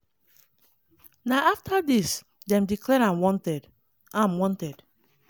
na afta dis dem declare am wanted. am wanted.